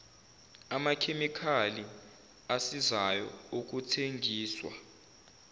amakhemikhali asizayo okuthengiswa